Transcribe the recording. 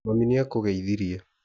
Mami nĩakũgeithirie